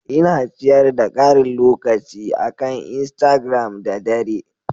Ina ciyar da karin lokaci akan Instigiram da dare.